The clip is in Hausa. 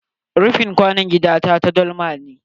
Rofin kwanon gida na ta dalma ce.